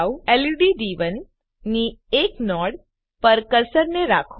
lead ડી1 ની એક નોડ પર કર્સરને રાખો